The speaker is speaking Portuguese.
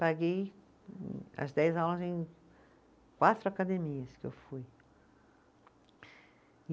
Paguei as dez aulas em quatro academias que eu fui.